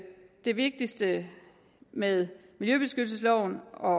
det vigtigste med miljøbeskyttelsesloven og